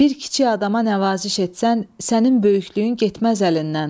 Bir kiçik adama nəvaziş etsən, sənin böyüklüyün getməz əlindən.